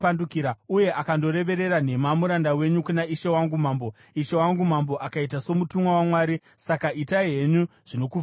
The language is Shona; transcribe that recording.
Uye akandorevera nhema muranda wenyu kuna ishe wangu mambo. Ishe wangu mambo akaita somutumwa waMwari; saka itai henyu zvinokufadzai.